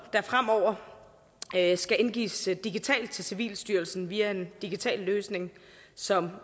fremover skal indgives digitalt til civilstyrelsen via en digital løsning som